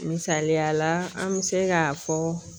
Misaliya la an bɛ se k'a fɔ